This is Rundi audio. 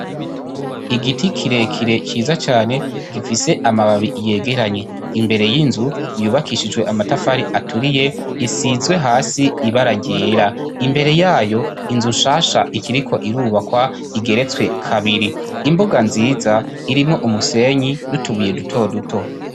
Igiti kirekire ciza cane gifise amababi yegeranye imbere y'inzu yubakishijwe amatafari aturiye isizwe hasi ibara ryera imbere yayo inzu shasha ikiriko irubakwa igeretswe kabiri imbuga nziza irimwo umusenyi n'utubuye duto duto.